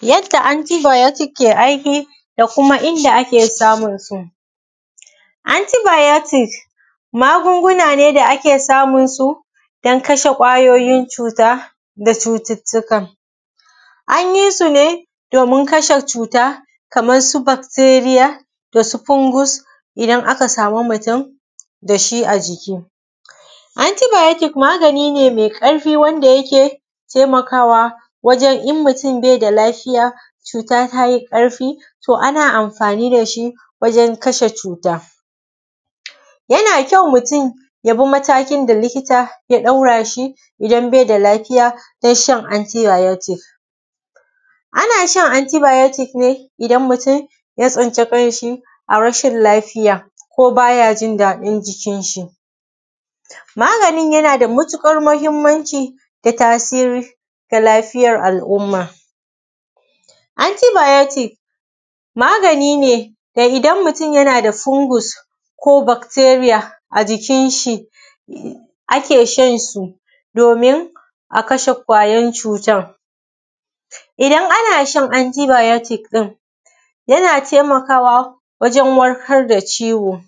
Yadda anti bayatic ke aiki, da kuma inda ake samun su. Anti bayotic magunguna ne da ake samunsu, don kasha kwayoyin cuta da cututtuka. An yi su ne domin kashe cuta, kamar su bacteriya, da su fungus idan aka samu mutum da shi a jiki. Anti bayotic magani ne mai ƙarfi wanda yake taimakawa wajen in mutum bai da lafiya, cuta ta yi ƙarfi, to ana amfani da shi wajen kasha cuta. Yana da kyau mutum ya bi matakin da likita ya ɗara shi idan bai da lafiya wajen shan anti bayotic. Ana sha anti bayotic, idan mutum ya tsinci kanshi a rashi lafiya, ko ba ya jin daɗin jikin shi. Maganin yana da matuƙar muhimmanci da tasirin da lafiyar al’umma. Anti bayotic magani da idan mutum yana da fungus ko bakteriya a jikin shi, ake shan su domin a kasha wannan kwayar cutar. Idan ana shan anti bayotic ɗin yana taimakawa wajen warkar da ciwo.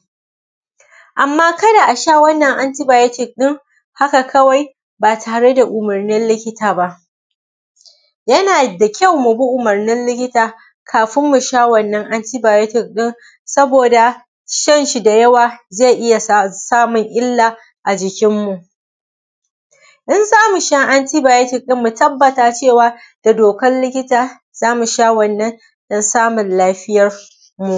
Amma kada a sha wannan anti bayotic ɗin haka kawai ba tare da umurnin likita ba. Yana da kyau mu bi umurnin likita kafin mu sha wannan anti bayotic ɗin. saboda shan shi da yawa zai iya sa samun illa a jikinmu. In za mu sha anti bayotic ɗin, mu tabbata da dokan likita za mu sha wannan don samun lafiyan mu.